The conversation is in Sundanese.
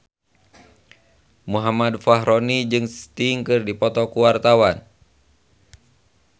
Muhammad Fachroni jeung Sting keur dipoto ku wartawan